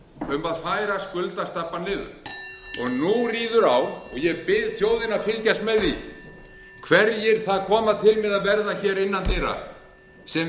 um að færa skuldastabbann niður nú ríður á og ég bið þjóðina að fylgjast með því hverjir það koma til með að verða hér innan dyra sem